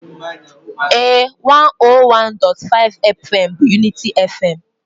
Ee,101.5FM bụ unity FM.